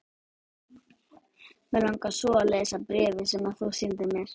Mig langar svo að lesa bréfin sem þú sýndir mér.